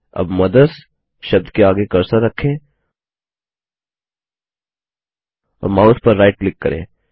अब मदर्स शब्द के आगे कर्सर रखें और माउस पर राइट क्लिक करें